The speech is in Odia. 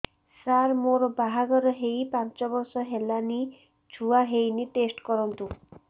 ସାର ମୋର ବାହାଘର ହେଇ ପାଞ୍ଚ ବର୍ଷ ହେଲାନି ଛୁଆ ହେଇନି ଟେଷ୍ଟ କରନ୍ତୁ